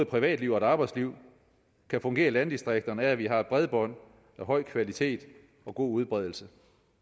privatliv og et arbejdsliv kan fungere i landdistrikterne er at vi har bredbånd af høj kvalitet og god udbredelse